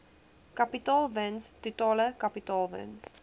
kapitaalwins totale kapitaalwins